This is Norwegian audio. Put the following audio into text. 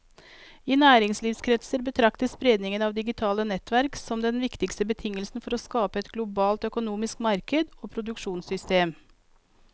I næringslivskretser betraktes spredningen av digitale nettverk som den viktigste betingelsen for å skape et globalt økonomisk marked og produksjonssystem.